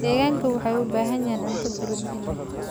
Digaagga waxay u baahan yihiin cunto borotiin leh.